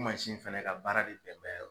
O mansin fana ka baara de bɛn bɛ